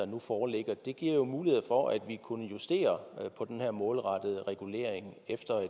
nu foreligger giver jo muligheder for at man kunne justere på den her målrettede regulering efter